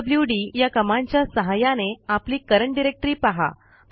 PWD या कमांडच्या सहाय्याने आपली करंट डायरेक्टरी पहा